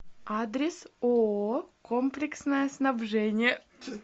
адрес ооо комплексное снабжение